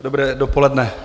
Dobré dopoledne.